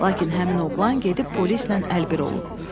Lakin həmin oğlan gedib polislə əlbir olub.